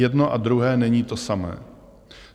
Jedno a druhé není to samé.